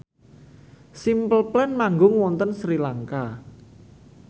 Simple Plan manggung wonten Sri Lanka